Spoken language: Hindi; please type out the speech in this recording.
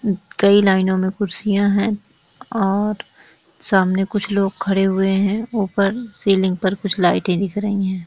कई लाइनो में कुर्सियां हैं और सामने कुछ लोग खड़े हुए है ऊपर सीलिंग पर कुछ लाइटे दिख रही है।